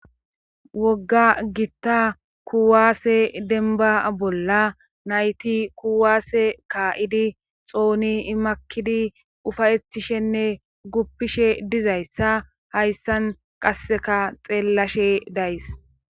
wogga gitta kuwaase denba bolla nayti kuwaase kaa7idi xooni imakidi ufayettishenne guppishe dizayssa hayssan qasseka xeellashe days